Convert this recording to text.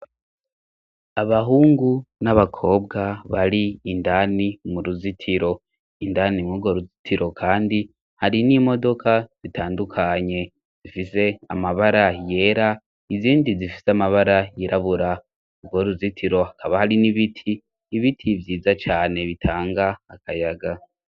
Abahungu n'abakobwa bari indani mu ruzitiro, indani mw'urwo ruzitiro kandi hari n'imodoka zitandukanye, zifise amabara yera, izindi zifise amabara yirabura, urwo ruzitiro hakaba hari n'ibiti, ibiti vyiza cane bitanga akayaga.